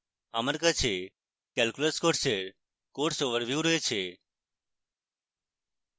আমার কাছে calculus course এর course overview রয়েছে